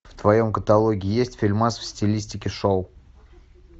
в твоем каталоге есть фильмас в стилистике шоу